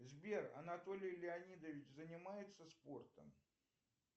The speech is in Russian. сбер анатолий леонидович занимается спортом